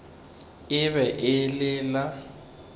e be e le la